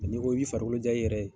Nka n'i ko i bi farikolo ja i yɛrɛ ye.